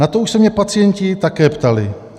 "Na to už se mě pacienti také ptali.